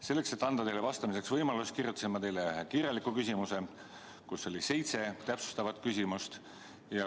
Selleks, et anda teile vastamiseks võimalus, esitasin ma teile kirjaliku küsimuse, kus oli seitse täpsustavat küsimust.